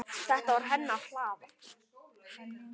Þetta var hennar hlaða.